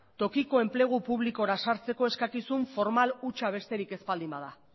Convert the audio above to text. tokiko enplegu publikora sartzeko eskakizun formal hutsa besterik ez baldin bada